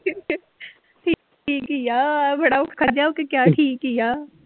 ਠੀਕ ਹੀ ਆ ਬੜਾ ਔਖਾ ਜਿਹਾ ਹੋ ਕੇ ਕਿਹਾ ਠੀਕ ਹੀ ਆ।